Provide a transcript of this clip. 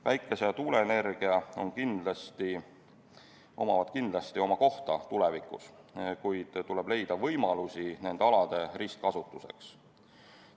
Päikese- ja tuuleenergial on kindlasti tulevikus oma koht, kuid tuleb leida võimalusi nende alade ristkasutuseks.